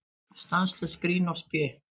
Stanslaust grín og spé.